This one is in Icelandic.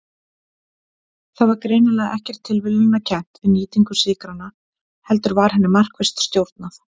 Það var greinilega ekkert tilviljunarkennt við nýtingu sykranna heldur var henni markvisst stjórnað.